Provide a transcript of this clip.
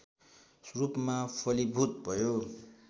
रूपमा फलीभूत भयो